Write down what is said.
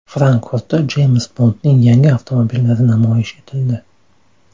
Frankfurtda Jeyms Bondning yangi avtomobillari namoyish etildi.